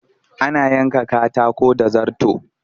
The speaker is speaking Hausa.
Ana yanka katako da zarto